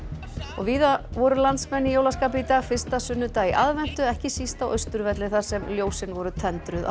víða voru landsmenn í jólaskapi í dag fyrsta sunnudag í aðventu ekki síst á Austurvelli þar sem ljósin voru tendruð á